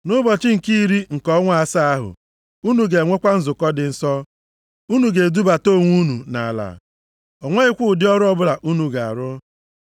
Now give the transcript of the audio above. “ ‘Nʼụbọchị nke iri nke ọnwa asaa ahụ, unu ga-enwekwa nzukọ dị nsọ. Unu ga-ebudata onwe unu nʼala. O nweghịkwa ụdị ọrụ ọbụla unu ga-arụ.